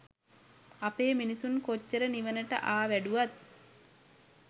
අපේ මිනිසුන් කොච්චර නිවනට ආ වැඩුවත්